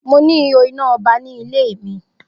Mo ni ihò iná ọba ní ilẹ mi